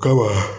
Kaba